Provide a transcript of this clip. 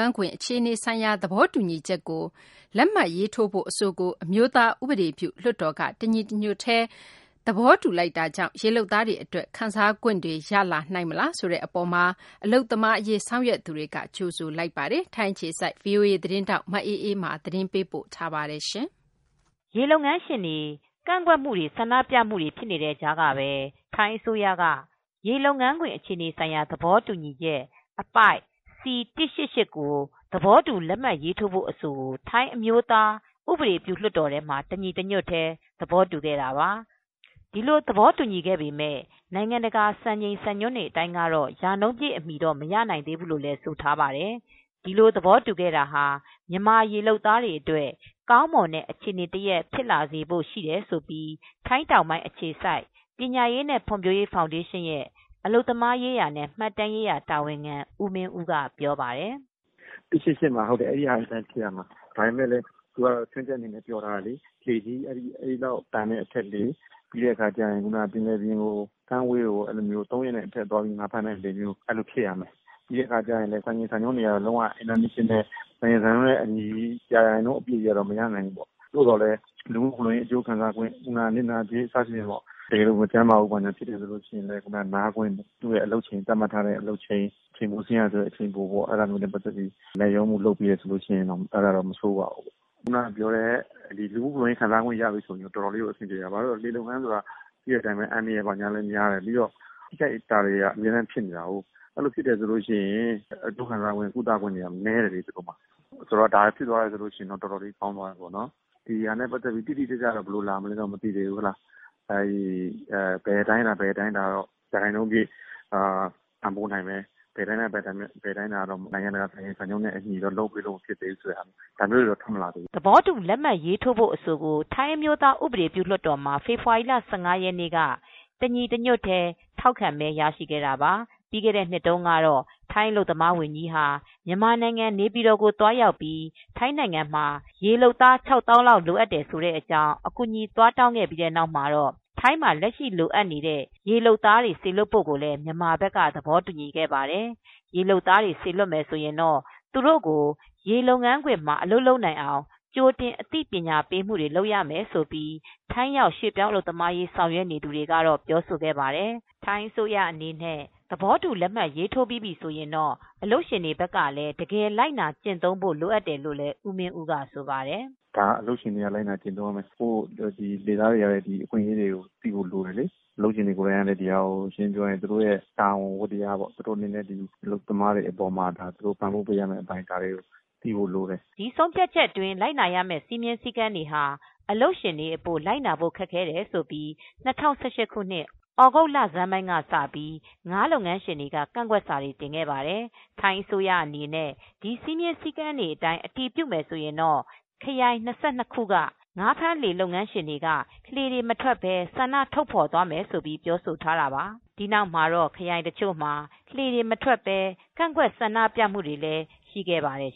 န်းခွင် အခြေအနေ ဆိုင်ရာ သဘောတူချက် အပိုဒ် C188 ကို သဘောတူလက်မှတ်ရေးထိုးဖို့ အဆိုကို ထိုင်းအမျိုးသား ဥပဒေပြုလွှတ်တော်မှာ ဖေဖေါ်ဝါရီ ၁၅ ရက်နေ့က တညီတညွှတ်ထဲ ထောက်ခံသဘောတူလိုက်ပါပြီ။ ဒီသဘောတူညီချက်အတိုင်း လိုက်နာ ကျင့်သုံးတော့မယ် ဆိုရင်တော့ရေလုပ်သားတွေအတွက် လူမှုဖူ လုံရေးကျန်းမာရေး ခံစားခွင့်နစ်နာကြေးတွေ ရရှိတော့မှာပါ။ ဒီအတွက် အလုပ်သမားရေး ဆောင်ရွက်နေသူတွေက ကြိုဆိုလိုက်ပါတယ်။ ထိုင်းအခြေစိုက် voa သတင်းထောက် မအေးအေးမာက သတင်းပေးပို့ထားပါတယ်။ ရေလုပ်ငန်းရှင်တွေ ကန့်ကွက်မှုတွေ၊ ဆန္ဒပြမှုတွေ ဖြစ်နေတဲ့ကြားကပဲထိုင်းအစိုးရက ရေလုပ်ငန်းခွင် အခြေအနေဆိုင်ရာ သဘောတူချက် အပိုဒ် C188 ကို သဘောတူလက်မှတ်ရေးထိုးဖို့ အဆိုကို ထိုင်းအမျိုးသားဥပဒေပြုလွှတ်တော်ထဲမှာ တညီတညွှတ်ထဲ သဘောတူခဲ့တာပါ။ ဒီလိုသဘောတူညီခဲ့ပေမဲ့ နိုင်ငံတကာစံချိန်စံညွှန်းတွေ အတိုင်းကတော့ရာနှုန်းပြည့်အမှီတော့ မရနိုင်သေးဘူးလို့လည်း ဆိုထားပါတယ်။ ဒီလို သဘောတူခဲ့တာဟာ မြန်မာရေလုပ်သားတွေအတွက် ကောင်းမွန်တဲ့ အခြေအနေတရပ် ဖြစ်လာတယ်လို့ ထိုင်းတောင်ပိုင်းအခြေစိုက် ပညာရေးနဲ့ ဖွံဖြိုးရေးဖောင်ဒေးရှင်းရဲ့ အလုပ်သမားရေးရာနဲ့ မှတ်တမ်းရေးရာ တာဝန်ခံ ဦးမင်းဦးက ပြောပါတယ်။ “စီ ၁၈၈မှာကတော့ ချွင်းချက်တွေနဲ့ ပြောထားတယ်။ ဘယ်လောက်တန်နဲ့ အထက်ရှိတဲ့ လှေတွေ ကမ်းဝေးခရီးကို ၃ရက်ထက်ကျော်ပြီးသွားတဲ့ လှေမျိုးတွေဖြစ်ရမယ်။ စံချိန်စံညွှန်းကတော့ အင်တာနေရှင်နယ် စံနှုန်းရာနှုန်းပြည့်အမှီတော့ မရနိုင်သေးဘူးပေါ့။ သို့သော်လည်း လူမှုဖူလုံရေး အကျိုးခံစားခွင့် နစ်နာကြေးစသဖြင့် တကယ်လို့ မကျန်းမာဘူးဆိုရင် နားခွင့်သတ်မှတ်ထားတဲ့ အလုပ်ချိန် အချိန်ပို ဆင်းရတယ်ဆိုရင်လည်း အဲဒါမျိုးနဲ့ပတ်သက်ပြီး လိုက်လျောခွင့် ပြုထားတယ်ဆိုရင်တော့ မဆိုးပါဘူး။ လူမှုဖူလုံးရေးရခွင့် ရထားပြီဆိုရင်တော့ တော်တော်လေးကို အဆင်ပြေတယ်။ ရေလုပ်ငန်းတွေ ဆိုတာ တော်တော်လည်း အန္တရာယ်များတယ်။ပြီးတော့ တခုခုဖြစ်တယ်ဆိုရင် ထိခိုက်မှုတွေက အမြဲတမ်းဖြစ်နေတာ တခုခုဖြစ်ရင် အကျိုးခံစားခွင့်ကနည်းတယ်။ ဒါကဖြစ်သွားရင်တော့ အတော်လေးကောင်းတယ်။ဒါက ဘယ်အတိုင်းအတာက ရာခိုင်နှုန်းပြည့် ပံ့ပိုးနိုင်တယ်။ ဘယ်ဟာကတော့ နိုင်ငံတကာစံနှုန်းနဲ့ အညီမဖြစ်နိုင်သေးဘူးပေါ့။ ဒါမျိုးတွေတော့ထွက်လာပြီပေါ့။” သဘောတူ လက်မှတ်ရေးထိုးဖို့အဆိုကို ထိုင်းအမျိုးသား ဥပဒေပြုလွှတ်တော်မှာ ဖေဖေါ်ဝါရီ ၁၅ ရက်နေ့က တညီတညွှတ်ထဲ ထောက်ခံမဲရရှိခဲ့တာပါ။ ပြီးခဲ့တဲ့နှစ်တုန်းကတော့ ထိုင်းအလုပ်သမားဝန်ကြီးဟာ မြန်မာနိုင်ငံနေပြည်တော်ကို သွားရောက်ပြီး ထိုင်းနိုင်ငံမှာရေလုပ်သား ၆သောင်းလောက် လိုအပ်တယ်ဆိုတဲ့ အကြောင်းအကူအညီ သွားတောင်းခဲ့ပြီးတဲ့နောက်မှာတော့ ထိုင်းမှာလက်ရှိလိုအပ်နေတဲ့ ရေလုပ်သားတွေ စေလွှတ်ဖို့ ကိုလည်း မြန်မာဘက်ကသဘောတူညီခဲ့ပါတယ်။ ရေလုပ်သားတွေ စေလွှတ်မယ်ဆိုရင်တော့ သူတို့ကို ရေလုပ်ငန်းခွင်မှာ အလုပ်လုပ်နိုင်အောင် ကြိုတင် အသိပညာပေးမှုတွေ လုပ်ပေးရမယ်လို့ ထိုင်းရောက် ရွှေ့ပြောင်းအလုပ်သမားရေး ဆောင်ရွက် နေသူတွေ က ပြောဆိုခဲ့ပါတယ်။ ထိုင်းအစိုးရအနေနဲ့ သဘောတူလက်မှတ် ရေးထိုးပြီးပြီဆိုရင်တော့အလုပ်ရှင်တွေဘက်ကလည်း တကယ်လိုက်နာကျင့်သုံးဖို့ လိုအပ်တယ်လို့ လည်း ဦးမင်းဦးကဆိုပါတယ်။ “အလုပ်ရှင်တွေကလည်း လိုက်နာကျင့်သုံးရမယ်။ လှေသားတွေကလည်း ကိုယ့်အခွင့်ရေးကိုလည်း သိဖို့လိုတယ်။ အလုပ်ရှင်ကလည်း သူတို့ရဲ့တာဝန်ဝတ္တရားပေါ့။ သူတို့အနေနဲ့ အလုပ်သမားတွေကို ပံ့ပိုးပေးရမယ့် အပိုင်းတွေ သိဖို့လိုတယ်လေ။” ဒီဆုံးဖြတ်ချက်အတွင်းလိုက်နာရမဲ့ စည်းမျဉ်းစည်းကမ်းတွေဟာအလုပ်ရှင်တွေအဖို့ လိုက်လုပ်ဖို့ ခက်ခဲတယ်ဆိုပြီး၂၀၁၈ခုနှစ် သြဂုတ်လဆန်းပိုင်း ကစပြီး ငါးလုပ်ငန်းရှင်တွေက ကန့်ကွက်စာတွေ တင်ခဲ့ပါတယ်။ ထိုင်းအစိုးရအနေနဲ့ ဒီစည်းမျဉ်းစည်းကမ်းတွေအတိုင်း အတည်ပြုမယ်ဆိုရင်တော့ ခရိုင် ၂၂ခုက ငါးဖမ်းလှေလုပ်ငန်းရှင်တွေက လှေတွေမထွက်ပဲ ဆန္ဒထုတ်ဖော်သွားမယ်လို့ ပြောဆိုထားတာပါ။ ဒီနောက်မှာတော့ ခရိုင်တချို့မှာ လှေတွေမထွက်ပဲ ကန့်ကွက် ဆန္ဒပြမှုတွေလည်း ရှိခဲ့ပါတယ်